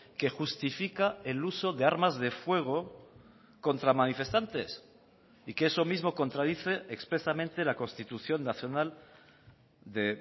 que justifica el uso de armas de fuego contra manifestantes y que eso mismo contradice expresamente la constitución nacional de